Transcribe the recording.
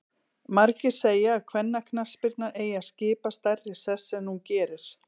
Margir segja að kvennaknattspyrna eigi að skipa stærri sess en hún gerir.